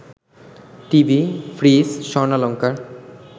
TV, fridge, স্বর্ণালঙ্কার